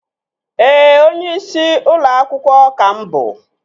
Ee, onyeisi ụlọ akwụkwọ ka mụ bụ